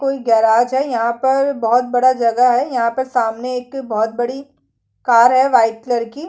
कोई गराज है यहाँ पर बहुत बड़ा जगह है यहाँ पर सामने एक बहुत बड़ी कार है वाइट कलर --